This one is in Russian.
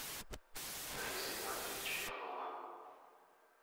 алексея валерьевича иванова